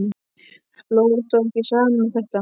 Lóu stóð ekki á sama um þetta.